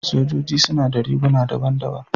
Sojoji suna da riguna daban-daban.